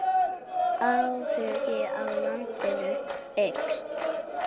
Áhugi á landinu eykst.